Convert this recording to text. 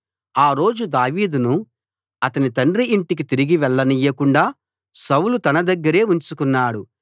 ఆ రోజు దావీదును అతని తండ్రి ఇంటికి తిరిగి వెళ్ళనీయకుండా సౌలు తన దగ్గరే ఉంచుకున్నాడు